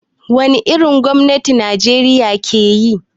Wani irin gwamnati Najeriya ke yi?